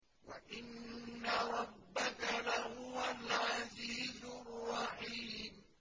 وَإِنَّ رَبَّكَ لَهُوَ الْعَزِيزُ الرَّحِيمُ